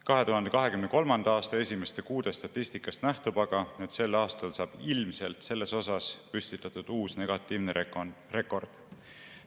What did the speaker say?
2023. aasta esimeste kuude statistikast nähtub aga, et sel aastal saab ilmselt selles osas püstitatud uus negatiivne rekord.